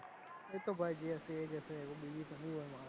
એતો ભાઈ જે હશે એજ હશે બીજું કોઈ ના હોય